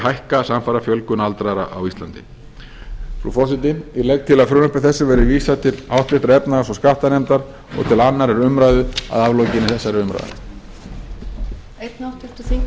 hækka samfara fjölgun aldraðra á íslandi frú forseti ég legg til að frumvarpi þessu verði vísað til háttvirtrar efnahags og skattanefndar og til annarrar umræðu að aflokinni þessari umræðu